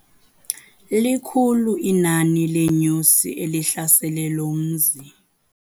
Likhulu iinani leenyosi elihlasele lo mzi.